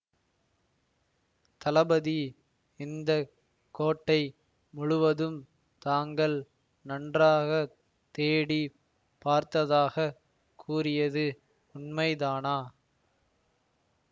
தளபதி இந்த கோட்டை முழுவதும் தாங்கள் நன்றாக தேடி பார்த்ததாக கூறியது உண்மைதானா